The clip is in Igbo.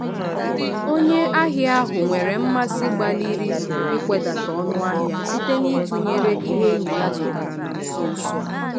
onye ahịa ahụ nwere mmasị gbalịrị ikwedata ọnụ ahịa site n'itunyere ihe enyi ya zụtara na nso nso a.